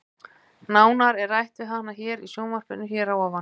Nánar er rætt við hana hér í sjónvarpinu hér að ofan.